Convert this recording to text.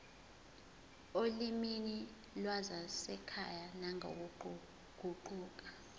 olimini lwasekhaya nangokuguquka